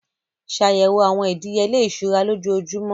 Ṣàyẹ̀wò àwọn ìdíyelé ìṣúra lójoojúmọ́.